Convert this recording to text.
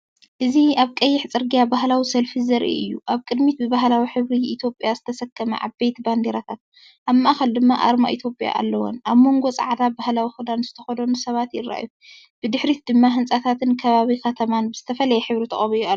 እዚ ኣብ ቀይሕ ጽርግያ ባህላዊ ሰልፊ ዘርኢ እዩ። ኣብ ቅድሚት ብባህላዊ ሕብሪ ኢትዮጵያ ዝተሰከማ ዓበይቲ ባንዴራታት፣ ኣብ ማእኸል ድማ ኣርማ ኢትዮጵያ ኣለወን። ኣብ ጎኖም ጻዕዳ ባህላዊ ክዳን ዝተኸድኑ ሰባት ይረኣዩ፡ብድሕሪት ድማ ህንጻታትን ከባቢ ከተማን ብዝተፈላለየ ሕብሪ ተቐቢኡ ኣሎ።